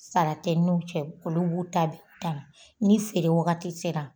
Sara tɛ n'u cɛ olu b'u ta bɛ dan ni feere wagati sera